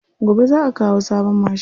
Gobe za'a kawo sabon mashin.